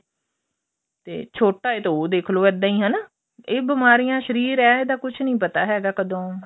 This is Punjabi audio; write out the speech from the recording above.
ਤੇ ਛੋਟਾ ਏ ਤਾਂ ਉਹ ਦੇਖ਼ਲੋ ਇੱਦਾਂ ਈ ਹਨਾ ਇਹ ਬੀਮਾਰੀਆ ਸ਼ਰੀਰ ਏ ਇਹਦਾ ਕੁੱਝ ਨੀ ਪਤਾ ਹੈਗਾ ਕਦੋਂ